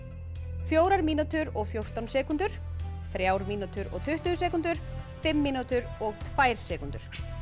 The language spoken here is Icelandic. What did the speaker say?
fjórar mínútur og fjórtán sekúndur þrjár mínútur og tuttugu sekúndur fimm mínútur og tvær sekúndur